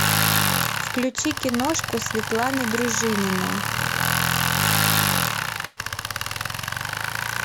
включи киношку светланы дружининой